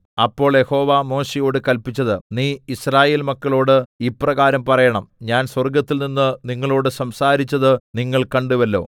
അപ്പോൾ യഹോവ മോശെയോട് കല്പിച്ചത് നീ യിസ്രായേൽ മക്കളോട് ഇപ്രകാരം പറയണം ഞാൻ സ്വർഗ്ഗത്തിൽനിന്ന് നിങ്ങളോട് സംസാരിച്ചത് നിങ്ങൾ കണ്ടുവല്ലോ